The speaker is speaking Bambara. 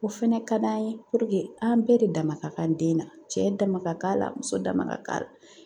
O fɛnɛ ka d'an ye an bɛɛ de dama ka kan den na, cɛ dama ka kan la muso dama ka kan.